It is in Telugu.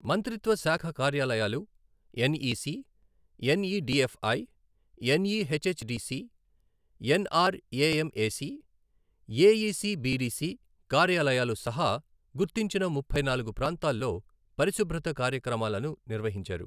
మంత్రిత్వ శాఖ కార్యాలయాలు, NEC, NEDFI, NEHHDC, NRAMAC, AECBDC కార్యాలయాలు సహా గుర్తించిన ముప్పై నాలుగు ప్రాంతాల్లో పరిశుభ్రత కార్యక్రమాలను నిర్వహించారు.